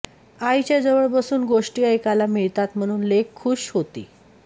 आईच्या जव्वळ बसून गोष्टी ऐकायला मिळतात म्हणून लेक खुश होती